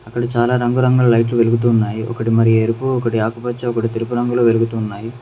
అక్కడ చాలా రంగు రంగులు లైట్ వెలుగుతున్నాయి ఒకటి మరి ఎరుపు ఒకటి ఆకుపచ్చ ఒకటి తెలుపు రంగులో వెలుగుతున్నాయి.